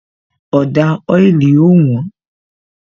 Ọ̀dà oili ó wón